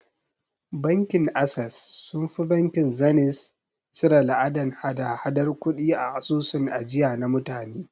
Bankin Ases sunfi bankin Zeniz cire la'adan hada hadar kudi a asusun ajiya na mutane